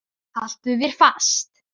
Haltu þér fast.